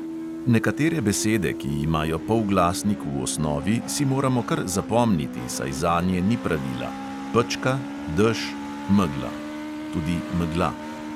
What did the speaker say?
Nekatere besede, ki imajo polglasnik v osnovi, si moramo kar zapomniti, saj zanje ni pravila: pečka, dež, megla (tudi megla).